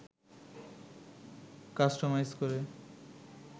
customise করে